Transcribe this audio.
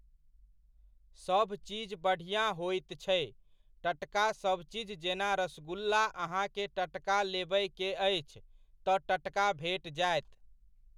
सभचीज बढ़िआँ होइत छै, टटका सभचीज जेना रसगुल्ला अहाँकेँ टटका लेबयके अछि, तऽ टटका भेट जायत।